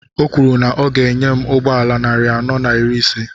Ọ kwuru na ị ga enye ya ụgbọala narị anọ na iri ise